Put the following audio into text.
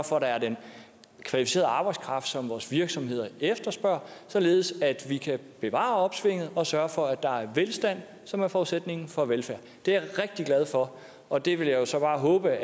for at der er den kvalificerede arbejdskraft som vores virksomheder efterspørger således at vi kan bevare opsvinget og sørge for at der er velstand som er forudsætningen for velfærd det er jeg rigtig glad for og det vil jeg jo så bare håbe